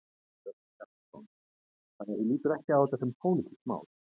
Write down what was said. Hjörtur Hjartarson: Þannig að þú lítur ekki á þetta sem pólitískt mál?